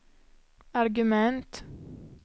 argument